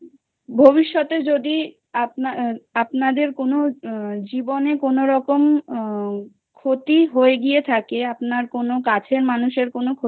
আ ভবিষ্যতে যদি আপনার আপনাদের কোনো জীবনে কোনও রকম ক্ষতি হয়ে গিয়ে থাকে আপনার কোনও কাছের মানুষের